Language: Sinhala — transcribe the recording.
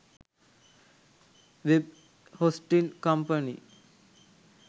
web hosting company